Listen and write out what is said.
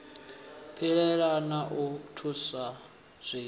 pilela na u vhusa zwiwe